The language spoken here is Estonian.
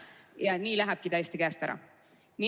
Ja nii lähebki täiesti käest ära.